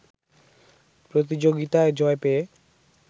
প্রতিযোগিতায় জয় পেয়ে